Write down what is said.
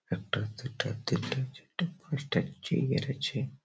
একটা দুটা তিনটা চারটা পাঁচটা চিয়ার আছে ।